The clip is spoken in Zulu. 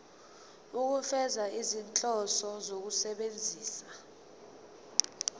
ukufeza izinhloso zokusebenzisa